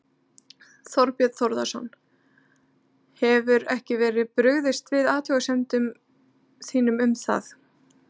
Þorbjörn Þórðarson: Hefur ekki verið brugðist við athugasemdum þínum um það?